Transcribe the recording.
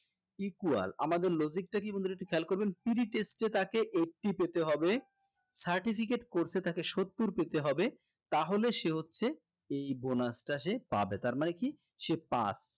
equal আমাদের logic টা কি বন্ধুরা একটু খেয়াল করবেন pre test এ তাকে eighty পেতে হবে certificate course এ তাকে সত্তর পেতে হবে তাহলে সে হচ্ছে এই bonus টা সে পাবে তার মানে কি সে pass